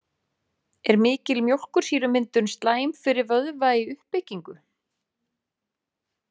Er mikil mjólkursýrumyndun slæm fyrir vöðva í uppbyggingu?